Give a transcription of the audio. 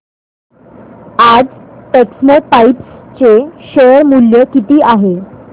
आज टेक्स्मोपाइप्स चे शेअर मूल्य किती आहे